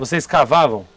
Vocês cavavam?